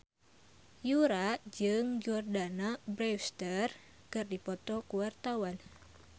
Yura jeung Jordana Brewster keur dipoto ku wartawan